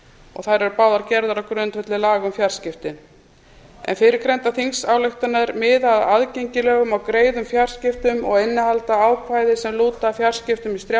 og þær eru báðar gerðar á grundvelli laga um fjarskipti fyrrgreindar þingsályktanir miða að aðgengilegum og greiðum fjarskiptum og innihalda ákvæði sem lúta að fjarskiptum